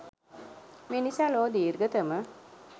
මේ නිසා ලොව දීර්ඝතම